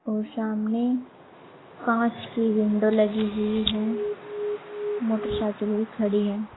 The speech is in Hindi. और सामने कांच की विंडो लगी हुई है। मोटरसाइकिल भी खड़ी है।